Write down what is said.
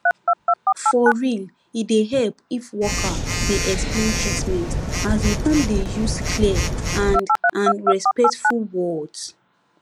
for real e dey help if worker dey explain treatment asin come dey use clear and and respectful words